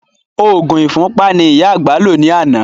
Òògùn ìfúnpá ni ìyá àgbà lò ní àná